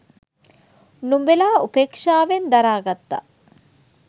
නුඹලා උපේක්ෂාවෙන් දරා ගත්තා.